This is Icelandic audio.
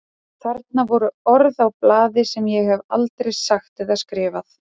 Þarna voru orð á blaði sem ég hef aldrei sagt eða skrifað.